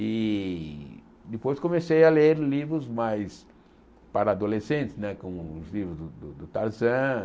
E depois comecei a ler livros mais para adolescentes né, como os livros do do Tarzan,